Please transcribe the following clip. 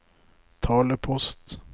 talepost